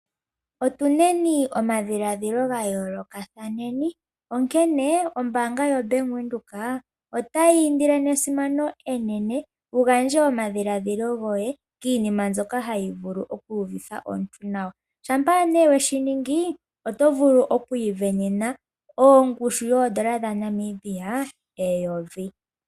Otu neni omadhiladhilo ga yoolokatha onkene ombanga yoBank Windhoek otayi indile nesimano enene wu gandje omadhiladhilo goye kiinima mbyoka hayi vulu okuuvitha omuntu nawa uuna we shi ningi oto vulu okwiivenena ongushu yoondola dhaNamibia eyovi.